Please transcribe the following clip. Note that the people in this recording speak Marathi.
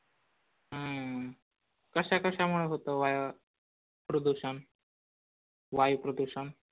हम्म कशा कशामुळे होतं वाय प्रदूषण वायू प्रदूषण?